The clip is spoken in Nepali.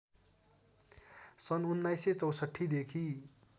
सन् १९६४ देखि